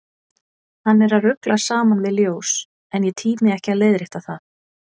Hann er að rugla saman við ljós, en ég tími ekki að leiðrétta það.